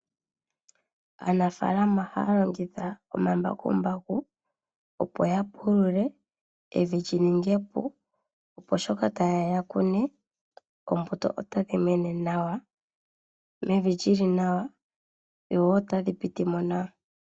Aanafaalama ohaa longitha omambakumbaku opo ya pulule evi li ninge epu, opo sho taye ya ya kune, oombuto otadhi mene nawa, mevi li li nawa, dho wo otadhi piti mo nawa.